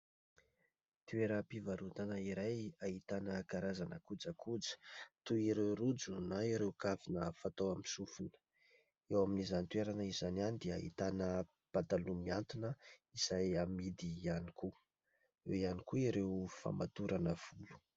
Toeram-pivarotana iray ahitana karazana kojakoja toy ireo rojo na ireo kavina fatao amin'ny sofina. Eo amin'izany toerana izany ihany dia ahitana pataloha mihantona izay amidy ihany koa. Eo ihany koa ireo famatorana volo.